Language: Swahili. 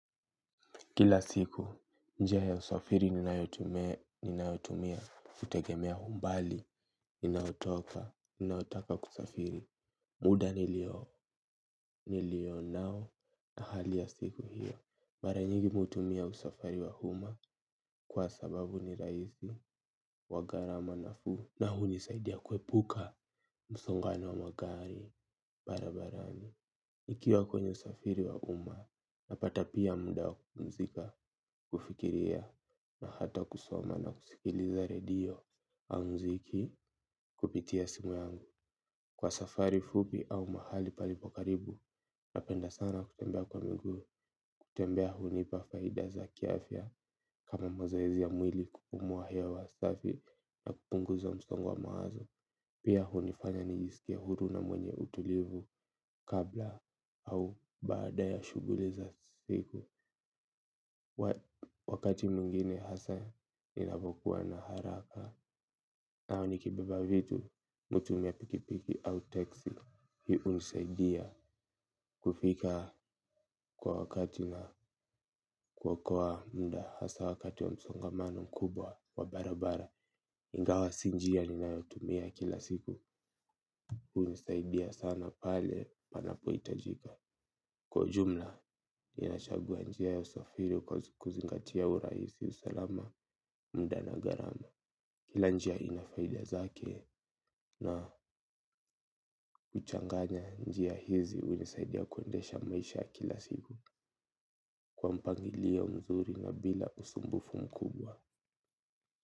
Kila siku, njia ya usafiri ninayotumia hutegemea humbali, ninayotoka, ninayotaka kusafiri. Muda nilio, nilio nao na hali ya siku hiyo. Baranyigi mi hutumia usafari wa umma kwa sababu ni raisi wa gharama nafuu na huni saidia kuepuka, msongano wa magari, barabarani. Ikiwa kwenye usafiri wa umma, napata pia muda wa kupumzika, kufikiria, na hata kusoma na kusikiliza redio au mziki kupitia simu yangu. Kwa safari fupi au mahali palipo karibu, napenda sana kutembea kwa miguu, kutembea hunipa faida za kiafya kama mazoezi ya mwili kupumua hewa safi na kupunguza msongo wa mawazo. Pia hunifanya nijisikie huru na mwenye utulivu kabla au baada ya shuguliza siku. Wakati mwingine hasa inavokuwa na haraka. Na wani kibeba vitu, mi hutumia pikipiki au teksi. Hii unisaidia kufika kwa wakati na kuokoa muda. Hasa wakati wa msongamano mkubwa wa barabara ingawa sinjia ninayotumia kila siku unisaidia sana pale panapo itajika. Kwa jumla, inachagua njia ya usafiri kwa kuzingatia urahisi usalama muda na gharama. Kila njia inafaidia zake na kuchanganya njia hizi unisaidia kuendesha maisha kila siku. Kwa mpangilio mzuri na bila usumbufu mkubwa.